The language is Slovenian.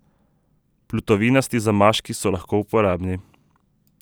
Plutovinasti zamaški so lahko uporabni.